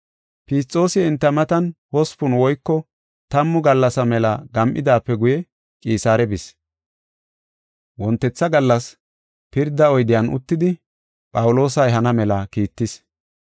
Fisxoosi enta matan hospun woyko tammu gallasa mela gam7idaape guye Qisaare bis. Wontetha gallas pirda oyden uttidi Phawuloosa ehana mela kiittis.